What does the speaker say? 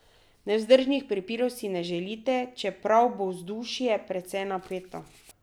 Nevzdržnih prepirov si ne želite, čeprav bo vzdušje precej napeto.